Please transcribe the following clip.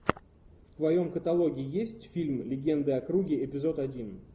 в твоем каталоге есть фильм легенды о круге эпизод один